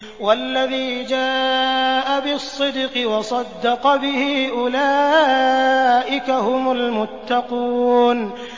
وَالَّذِي جَاءَ بِالصِّدْقِ وَصَدَّقَ بِهِ ۙ أُولَٰئِكَ هُمُ الْمُتَّقُونَ